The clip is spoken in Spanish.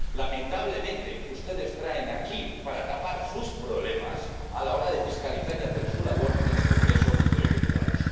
Lamentablemente, ustedes traen aquí el debate para tapar sus problemas a la hora de fiscalizar y hacer su labor en el Congreso de los Diputados.